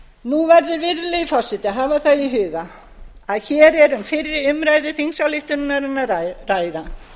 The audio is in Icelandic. nú verður virðulegi forseti að hafa það í huga að hér er um fyrri umræðu þingsályktunarinnar að ræða